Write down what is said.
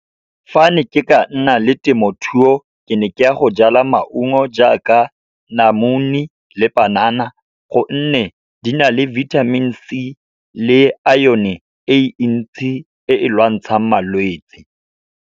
Fa ne ke ka nna le temothuo, ke ne ke ya go jala maungo jaaka namune le panana, gonne di na le vitamin C le iron-e e ntsi e e lwantshang malwetse.